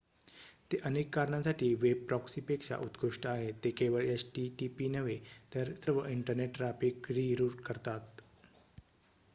ते अनेक कारणांसाठी वेब प्रॉक्सीपेक्षा उत्कृष्ट आहेत ते केवळ http नव्हे तर सर्व इंटरनेट ट्रॅफिक रि-रूट करतात